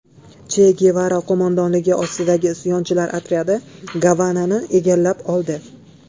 Che Gevara qo‘mondonligi ostidagi isyonchilar otryadi Gavanani egallab oldi.